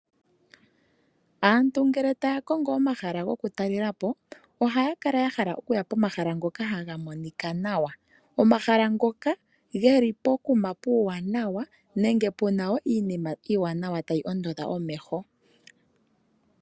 Aantu ngele taya kongo omahala goku talelapo ohaya kala yahala okuya pomahala ngoka taga monika nawa. Omahala ngoka geli pokuma puuwanawa nenge puna woo iinima iiwanawa tayi ondodha omeho.